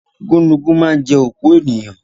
Gúnugún ma ń jẹ́ òkú ènìyàn